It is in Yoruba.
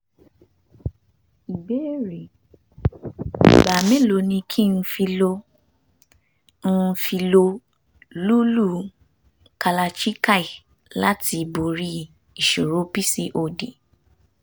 ìbéèrè: ìgbà mélòó ni kí n fi lo n fi lo lúlú kalachikai láti borí ìṣòro pcod?